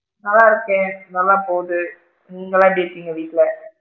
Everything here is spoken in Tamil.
நல்லா இருக்கேன். நல்லா போகுது நீங்களா எப்படி இருக்கீங்க வீட்ல?